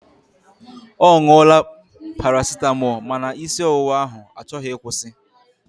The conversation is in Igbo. Ọ ṅụọla parasịtamọọl ma na isi ọwụwa ahụ achọghị ịkwụsi.